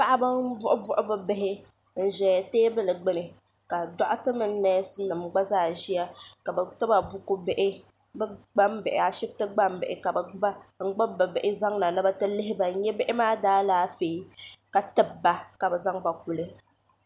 paɣ' ba n bɔɣi bɔɣi be bihi n ʒɛya tɛbuli gbani ka doɣitɛ mini nɛsinim zaya ka me yɛba bulu bihi gban behi ashɛbotɛni gban bihi n gbabi be bihi ni be ti lihiba nihi maa daalɛƒɛɛ tɛbiba ka be zaŋ ba